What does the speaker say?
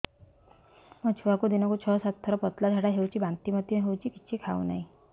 ମୋ ଛୁଆକୁ ଦିନକୁ ଛ ସାତ ଥର ପତଳା ଝାଡ଼ା ହେଉଛି ବାନ୍ତି ମଧ୍ୟ ହେଉଛି କିଛି ଖାଉ ନାହିଁ